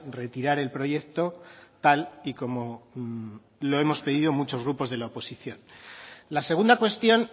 retirar el proyecto tal y como lo hemos pedido muchos grupos de la oposición la segunda cuestión